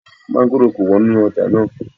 Mọ́ngòrò ko wọ́n ní ọjà náà